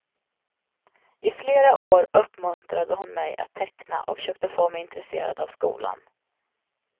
I flera år uppmuntrade hon mig att teckna och försökte få mig intresserad av skolan.